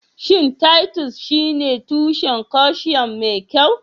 Shin Titus shine tushen calcium mai kyau?